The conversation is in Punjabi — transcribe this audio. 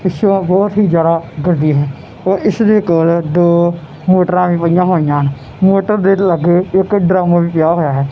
ਇੱਸ ਮੇਂ ਬਹੁਤ ਹੀ ਜਿਆਦਾ ਗੱਡੀ ਹੈ ਔਰ ਇੱਸ ਦੇ ਕੋਲ ਦੋ ਮੋਟਰਾਂ ਵੀ ਪਈਆਂ ਹੋਇਆਂ ਮੋਟਰ ਦੇ ਲੱਗੇ ਇੱਕ ਡਰੱਮ ਵੀ ਪਿਆ ਹੋਇਆ ਹੈ।